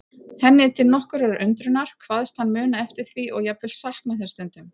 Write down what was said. Henni til nokkurrar undrunar, kvaðst hann muna eftir því og jafnvel sakna þess stundum.